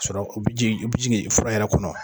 Sɔrɔ o bɛ jigin o bɛ jigin fura yɛrɛ kɔnɔ.